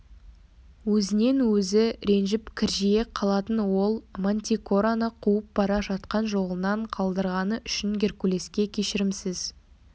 өзінен өзі ренжіп кіржие қалатын ол мантикораны қуып бара жатқан жолынан қалдырғаны үшін геркулеске кешірімсіз